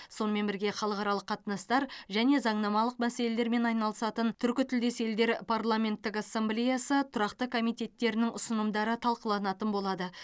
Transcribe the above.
сонымен бірге халықаралық қатынастар және заңнамалық мәселелермен айналысатын түркітілдес елдер парламенттік ассамблеясы тұрақты комитеттерінің ұсынымдары талқыланатын болады